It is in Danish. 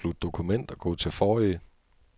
Afslut dokument og gå til forrige.